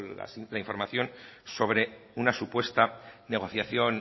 la simple información sobre una supuesta negociación